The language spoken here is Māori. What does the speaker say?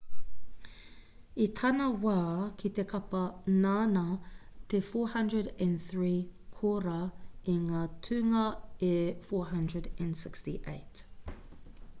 i tana wā ki te kapa nāna te 403 kōrā i ngā tūnga e 468